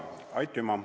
Aitüma!